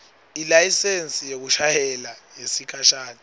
ilayisensi yekushayela yesikhashana